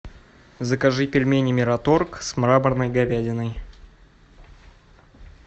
закажи пельмени мираторг с мраморной говядиной